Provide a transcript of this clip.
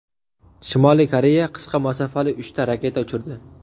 Shimoliy Koreya qisqa masofali uchta raketa uchirdi.